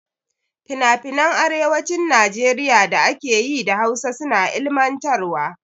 Finafinan arewacin Najeriya da ake yi da Hausa suna ilmantarwa.